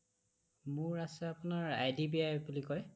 মোৰ আছে আপোনাৰ IDBI বূলি কয়